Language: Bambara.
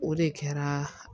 O de kɛra